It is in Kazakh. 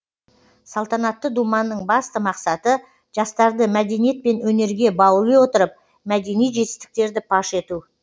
салтанатты думанның басты мақсаты жастарды мәдениет пен өнерге баули отырып мәдени жетістіктерді паш ету